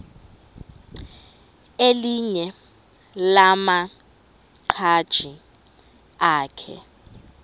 elinye lamaqhaji akhe